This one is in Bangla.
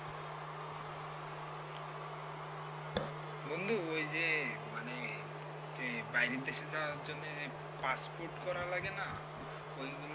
বন্ধু ওই যে মানে বাইরের দেশে যাওয়ার জন্য passport রা লাগে না ওইগুলো